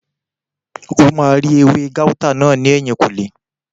O máa rí ewé gáútà náà ní ẹ̀yìnkùlé